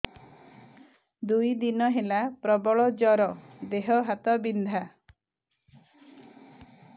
ଦୁଇ ଦିନ ହେଲା ପ୍ରବଳ ଜର ଦେହ ହାତ ବିନ୍ଧା